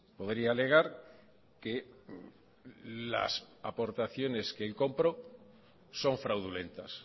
podría alegar que las aportaciones que él compró son fraudulentas